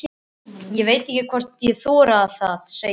Ég veit ekki hvort ég þori það, segir hann.